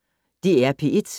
DR P1